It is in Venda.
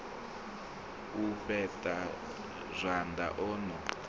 u fheṱa zwanḓa o no